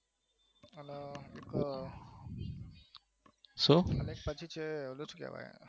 શું?